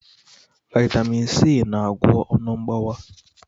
Vaitamin C na-agwọ ọnụ mgbawa.